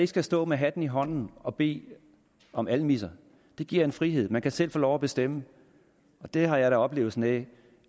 skal stå med hatten i hånden og bede om almisser giver en frihed og man kan selv få lov at bestemme det har jeg da oplevelsen af